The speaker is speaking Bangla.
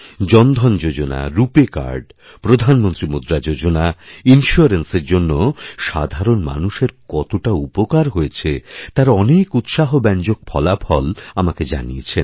জনধন যোজনা রুপে কার্ড প্রধানমন্ত্রীমুদ্রা যোজনা ইন্সিওরেন্সের জন্য সাধারণ মানুষের কতটা উপকার হয়েছে তার অনেকউৎসাহব্যঞ্জক ফলাফল আমাকে জানিয়েছেন